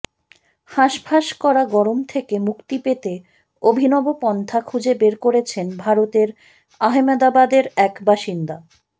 হাসফাঁস করা গরম থেকে মুক্তি পেতে অভিনব পন্থা খুঁজে বের করেছেন ভারতের আহমেদাবাদের এক বাসিন্দা